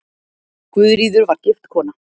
Guðríður var gift kona.